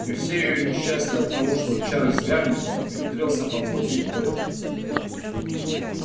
и все её несчастья оттого что чарлз гамильтон ухитрился подхватить корь